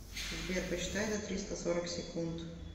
сбер посчитай до триста сорок секунд